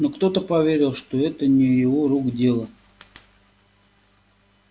но кто-то поверил что это не его рук дело